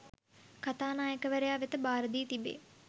කථානායකවරයා වෙත භාරදී තිබේ